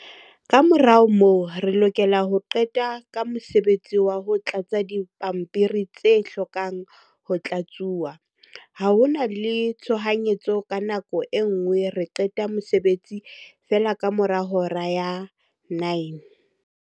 "Kamora moo, re lokela ho qeta ka mosebetsi wa ho tlatsa dipampiri tse hlokang ho tlatsuwa. Ha ho na le tshohanyetso ka nako e nngwe re qeta mosebetsi feela kamora hora ya 21:00."